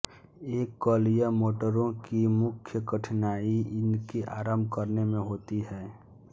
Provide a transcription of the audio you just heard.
एककलीय मोटरों की मुख्य कठिनाई इनके आरंभ करने में होती हैं